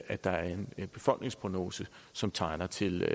at der er en befolkningsprognose som tegner til